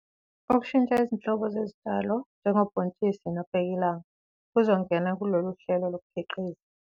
Ukushintsha izinhlobo zezitshalo, njengobhontshisi nobhekilanga, kuzongena kuleli hlelo lokukhiqiza.